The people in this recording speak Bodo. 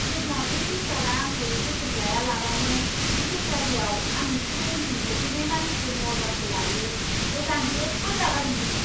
जेब्ला बे बेकारआ आंखौ जोथोन लायालाबानो बे बेकारियाव आंनिख्रुइ उनसिन सौफैनाय मानसिफोरनि अर्डारखौ लायो, अब्ला आं जोबोद रागा जोंदोंमोन!